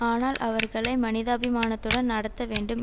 ஆனால் அவர்களை மனிதாபிமானத்துடன் நடத்த வேண்டும்